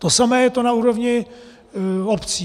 To samé je to na úrovni obcí.